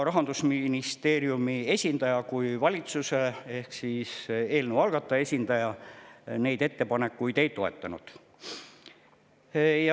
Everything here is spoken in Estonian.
Rahandusministeeriumi esindaja kui valitsuse ehk eelnõu algataja esindaja samuti neid ettepanekuid ei toetanud.